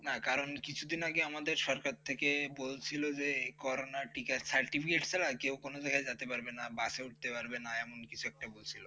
না, কারণ কিছুদিন আগে আমাদের সরকার থেকে বলছিল যে corona টিকার certificate ছাড়া কেউ কোনও জায়গায় যেতে পারবে না বাসে উঠতে পারবে না। এমন কিছু একটা বলছিল